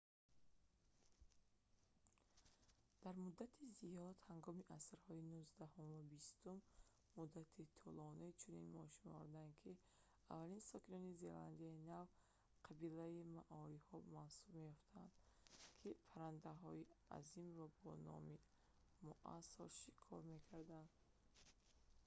дар муддати зиёд ҳангоми асрҳои нуздаҳум ва бистум муддати тӯлонӣ чунин мешумурданд ки аввалин сокинони зеландияи нав қабилаи маориҳо маҳсуб меёфтанд ки паррандаҳои азимро бо номи моас шикор мекарданд